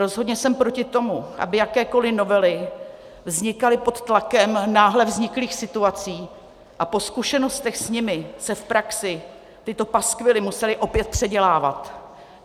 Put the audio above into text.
Rozhodně jsem proti tomu, aby jakékoliv novely vznikaly pod tlakem náhle vzniklých situací a po zkušenostech s nimi se v praxi tyto paskvily musely opět předělávat.